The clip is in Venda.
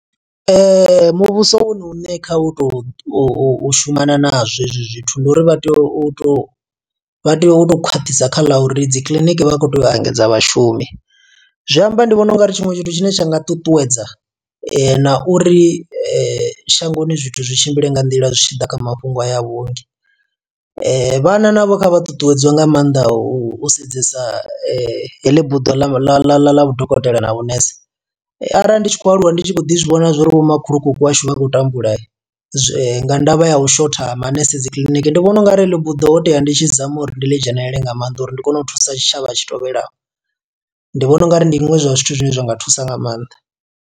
Muvhuso wone uṋe kha u to u shumana na zwo hezwi zwithu, ndi uri vha tea u tou vha tea u tou khwaṱhisa kha ḽa uri dzi kiliniki vha khou tea u engedza vhashumi. Zwi amba ndi vhona ungari tshiṅwe tshithu tshine tsha nga ṱuṱuwedza na uri shangoni zwithu zwi tshimbile nga nḓila zwi tshi ḓa kha mafhungo haya a vhuongi. Vhana navho kha vha ṱuṱuwedziwe nga maanḓa u sedzesa heḽi buḓo ḽa vhudokotela na vhunese. Arali ndi tshi khou aluwa ndi tshi khou ḓi zwivhona uri vho makhulukuku washu vha khou tambula, nga ndavha ya u shotha manese dzi kiḽiniki. Ndi vhona ungari heḽi buḓo hotea ndi tshi zama uri ndi ḽi dzhenelele nga maanḓa, uri ndi kone u thusa tshitshavha tshi tovhelaho. Ndi vhona ungari ndi zwiṅwe zwa zwithu zwine zwa nga thusa nga maanḓa.